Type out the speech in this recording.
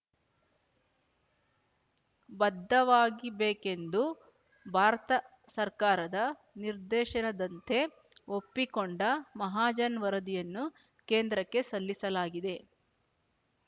ಬದ್ಧವಾಗಿಬೇಕೆಂದು ಭಾರತ ಸರಕಾರದ ನಿರ್ದೇಶನದಂತೆ ಒಪ್ಪಿಕೊಂಡ ಮಹಾಜನ್ ವರದಿಯನ್ನು ಕೇಂದ್ರಕ್ಕೆ ಸಲ್ಲಿಸಲಾಗಿದೆ